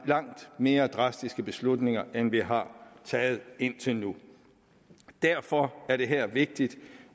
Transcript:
langt mere drastiske beslutninger end vi har taget indtil nu derfor er det her vigtigt